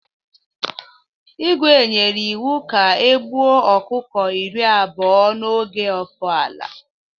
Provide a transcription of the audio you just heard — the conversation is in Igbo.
Igwe nyere iwu ka e gbuo ọkụkọ iri abụọ n'oge ofala!